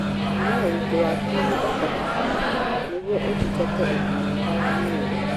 Thima ũritũ waku mahinda kwa mahinda nĩguo ũthingatĩ ũgima mwega wa mwĩri